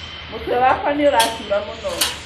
Mũtwe wakwa nĩũratura mũno